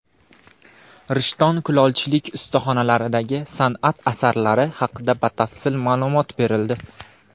Rishton kulolchilik ustaxonalaridagi san’at asarlari haqida batafsil ma’lumot berildi.